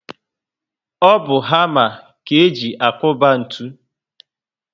O bu hama ka eji akuba ntụ